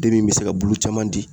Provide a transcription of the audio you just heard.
Den min be se ka bulu caman di